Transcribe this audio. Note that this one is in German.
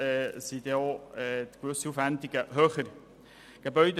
Entsprechend sind gewisse Aufwendungen höher als üblich.